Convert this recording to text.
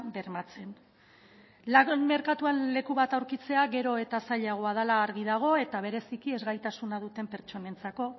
bermatzen lan merkatuan leku bat aurkitzea gero eta zailagoa dela argi dago eta bereziki ezgaitasuna duten pertsonentzako